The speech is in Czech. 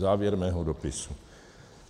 Závěr mého dopisu.